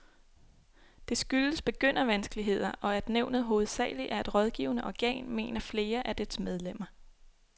Det skyldes begyndervanskeligheder, og at nævnet hovedsageligt er et rådgivende organ, mener flere af dets medlemmer.